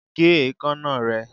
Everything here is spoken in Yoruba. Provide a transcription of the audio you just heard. Gé ekanna rẹ!